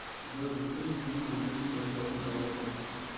джой какие книги любит ольга голодец